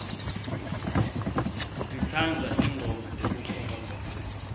sitsandza tingoma tekukholwa